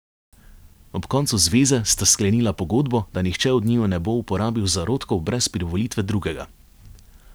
Ob koncu zveze sta sklenila pogodbo, da nihče od njiju ne bo uporabil zarodkov brez privolitve drugega.